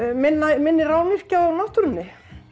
minni minni rányrkja á náttúrunni